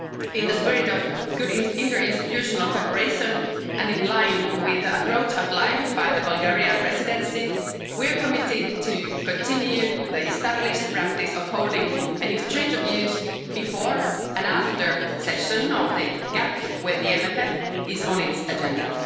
In the spirit of good interinstitutional cooperation and in line with the approach outlined by the Bulgarian Presidency, we are committed to continuing the established practice of holding an exchange of views before and after sessions of the General Affairs Council when the MFF is on its agenda.